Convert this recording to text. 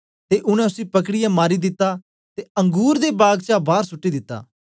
ते उनै उसी पकड़ीऐ मारी दिता ते अंगुर दे बाग चा बार सुट्टी दिता